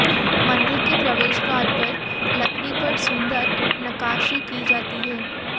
मंदिर के प्रवेशद्वार पर लकड़ी पर सुन्दर नक्काशी की जाती है